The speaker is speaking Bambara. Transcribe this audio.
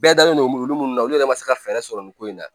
Bɛɛ dalen don olu mun na olu yɛrɛ ma se ka fɛɛrɛ sɔrɔ nin ko in na